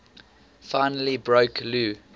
finally broke lou